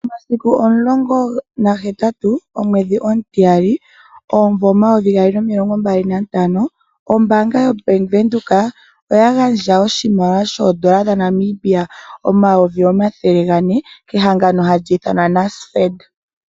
Momasiku omilonga naga hetatu omwedhi omutiyali omvula omayovi gaali nomilongo mbali nantano ombaanga yobank Windhoek oya gandja oshimaliwa shoodola dhaNamibia omayovi omathele gane kehangano hali i fanwa NASFED.